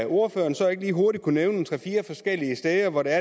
ordføreren så lige hurtigt kan nævne tre fire forskellige steder hvor der